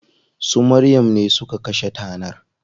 Su Maryam ne suka kashe tanar.